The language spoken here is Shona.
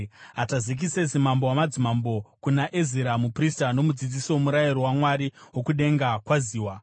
Atazekisesi mambo wamadzimambo, kuna Ezira muprista nomudzidzisi woMurayiro waMwari wokudenga: Kwaziwa.